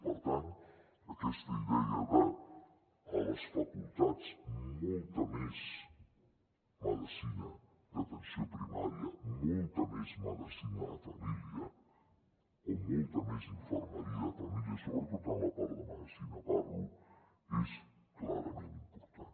per tant aquesta idea de a les facultats molta més medicina d’atenció primària molta més medicina de família o molta més infermeria de família sobretot en la part de medicina parlo és clarament important